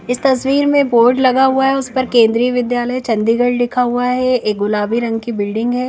इस तस्वीर में बोर्ड लगा हुआ है उस पर केन्देर विद्याल चंडीगढ़ लिखा हुआ है एक गुलाबी रंग की बिल्डिंग है।